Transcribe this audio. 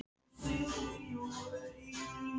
Mamma heldur að ég sé ennþá í sundi.